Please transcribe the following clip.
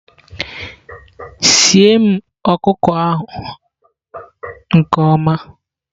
sie m ọkụkọ ahụ nke ọma!